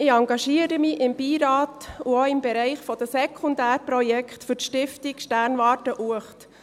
Ich engagiere mich im Beirat und auch im Bereich der Sekundärprojekte für die Stiftung Sternwarte Uecht.